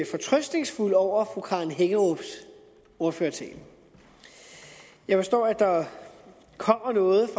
fortrøstningsfuld over fru karen hækkerups ordførertale jeg forstår at der kommer noget